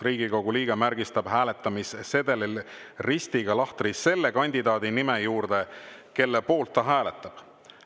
Riigikogu liige märgistab hääletamissedelil ristiga lahtri selle kandidaadi nime juures, kelle poolt ta hääletab.